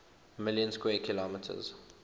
million square kilometers